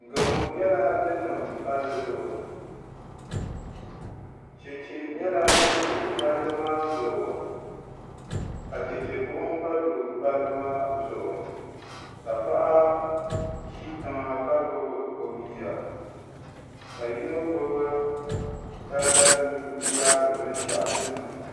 Gamo nyɛla din niŋ palli zuɣu chɛchɛ nyɛla din do palli maa zuɣu ka chɛchɛ buɣum gba do palli maa zuɣu ka paɣa ʒi tiŋa ka gbubi o bia ka yino gbubi tangali mii n yaari binshaɣu din niŋ